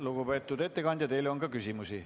Lugupeetud ettekandja, teile on ka küsimusi.